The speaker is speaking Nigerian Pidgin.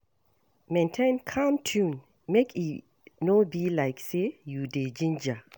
Maintain calm tone make e no be like say you dey ginger